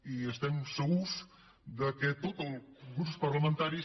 i estem segurs que tots els grups parlamentaris